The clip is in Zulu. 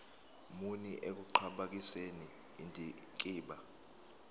muni ekuqhakambiseni indikimba